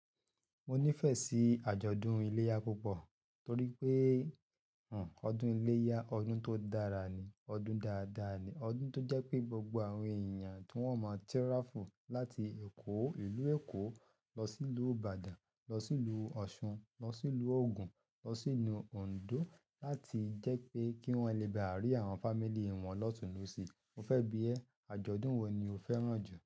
Mo nífẹ̀ẹ́ sí àjọ̀dún iléyá púpọ̀ torí pé, o, ọdún iléyá ọdún tó dára ni, ọdún dáadáa ni. Ọdún tó jẹ́ pé gbogbo àwọn èèyàn tí wọ́n máa tiraful láti Èkó, ìlú Èkó lọ sí ìlú Ìbàdàn, lọ sí ìlú Ọ̀ṣun, lọ sí ìlú Ògùn, lọ sí ilú Òǹdó láti jẹ́ pé kí wọ́n le ba rí àwọn fámílì wọn lọ́tùnlosí. Mo fẹ́ bi ẹ́, àjọ̀dún wo ni o fẹ́ràn jù?